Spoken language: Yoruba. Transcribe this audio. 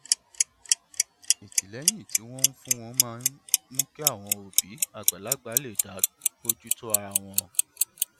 ìtìlẹyìn tí wọn ń fún wọn máa ń mú kí àwọn òbí àgbàlagbà lè dá bójú tó ara wọn